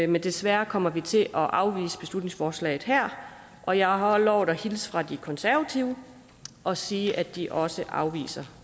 men desværre kommer vi til at afvise beslutningsforslaget her og jeg har lovet at hilse fra de konservative og sige at de også afviser